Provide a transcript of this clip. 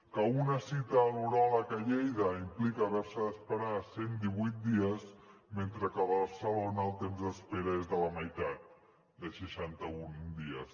que una cita a l’uròleg a lleida implica haver se d’esperar cent i divuit dies mentre que a barcelona el temps d’espera és de la meitat de seixanta un dies